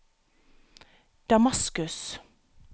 Damaskus